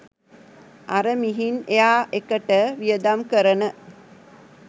අර මිහින් එයාර් එකට වියදම් කරන